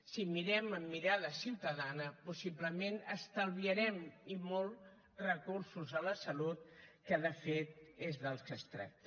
si mirem amb mirada ciutadana possiblement estalviarem i molt recursos a la salut que de fet és del que es tracta